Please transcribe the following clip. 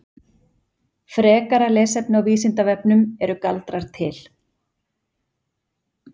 Frekara lesefni á Vísindavefnum Eru galdrar til?